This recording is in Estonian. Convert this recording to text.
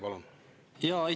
Palun!